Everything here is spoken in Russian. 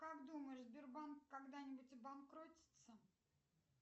как думаешь сбербанк когда нибудь обанкротится